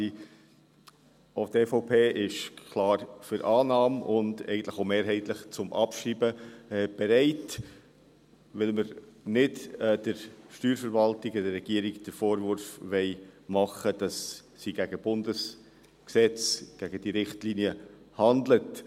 Auch die EVP ist klar für die Annahme und eigentlich auch mehrheitlich zum Abschreiben bereit, weil wir der Steuerverwaltung und der Regierung nicht den Vorwurf machen wollen, dass sie gegen Bundesgesetze – gegen diese Richtlinie – handelt.